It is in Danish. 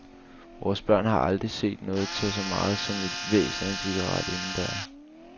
Vores børn har aldrig set nogen tage så meget som et hvæs af en cigaret inden døre.